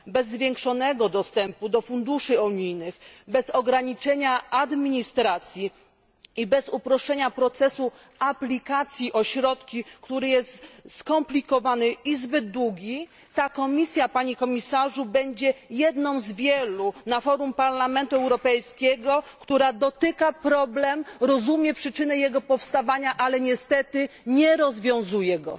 Bez zwiększonego dostępu do funduszy unijnych, bez ograniczenia administracji i bez uproszczenia procesu aplikacji o środki, który jest skomplikowany i zbyt długi, ta komisja, panie komisarzu, będzie jedną z wielu na forum Parlamentu Europejskiego, która wskazuje na problem, rozumie przyczyny jego powstawania, ale niestety nie rozwiązuje go.